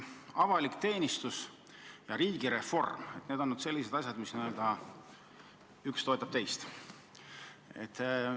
Avalik teenistus ja riigireform – need on sellised asjad, mille puhul üks toetab teist.